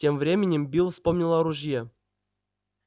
тем временем билл вспомнил о ружье